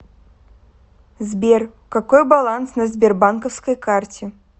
сбер какой баланс на сбербанковской карте